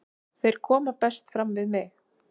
Þeir koma best fram við mig.